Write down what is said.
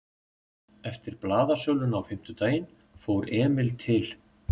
Eftir blaðasöluna á fimmtudaginn fór Emil til